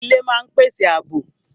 Ilé máa ń pèsè àbò